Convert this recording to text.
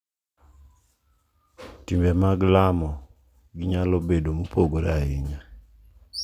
Timbe mag lamo gi nyalo bedo mopogore ahinya,